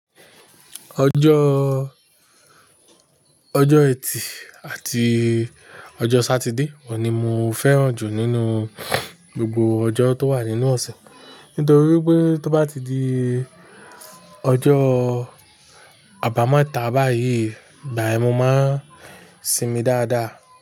Ọjọ́, ọjọ́ ẹtì àti ọjọ́ Sátidé ni mo fẹ́ràn jù nínú gbogbo ọjọ́ tó wà nínú ọ̀sẹ̀. Nítorí pé tó bá ti di ọjọ́ àbámẹ́ta báyìí, ìgbà ẹ mo máa ń sinmi dáadáa.